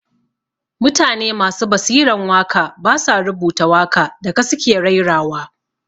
Mutane masu basiran waka ba sa rubuta waka da ka su ke raira wa